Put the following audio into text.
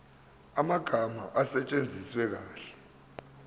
amagama asetshenziswe kahle